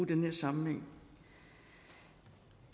den her sammenhæng